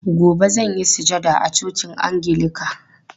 Gobe zan yi sujada a cocin angilika.